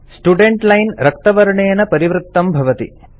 student line रक्तवर्णेन परिवृतं भवति